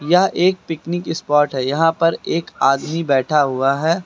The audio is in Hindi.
यह एक पिकनिक स्पॉट है यहां पर एक आदमी बैठा हुआ है।